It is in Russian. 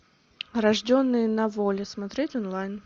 рожденные на воле смотреть онлайн